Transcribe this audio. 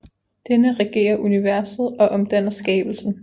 Denne regerer universet og omhandler skabelsen